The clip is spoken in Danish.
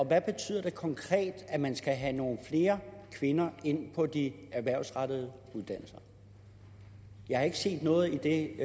og hvad betyder det konkret at man skal have nogle flere kvinder ind på de erhvervsrettede uddannelser jeg har ikke set noget i det